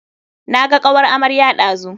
Naga kawar amarya ɗazu.